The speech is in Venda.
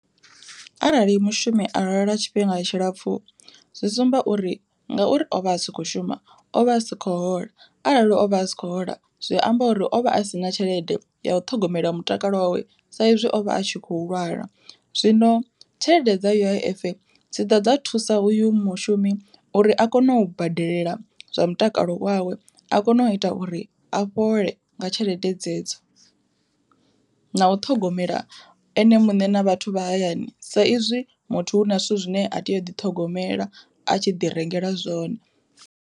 Arali mushumi a lwala tshifhinga tshilapfu zwi sumba uri ngauri ovha a sa kho shuma o vha a sikho hola, arali o vha a sikho hola zwi amba uri o vha a si na tshelede ya u ṱhogomela mutakalo wawe sa izwi o vha a tshi khou lwala, zwino tshelede dza U_I_F dzi ḓa dza thusa uyu mushumi uri a kone u badelela zwa mutakalo wawe a kone u ita uri a fhole nga tshelede dzedzo. Na u ṱhogomela ene muṋe na vhathu vha hayani sa izwi muthu hu na zwithu zwine a tea u ḓi ṱhogomela a tshi ḓi rengela zwone.